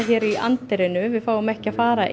í anddyrinu en fáum ekki að fara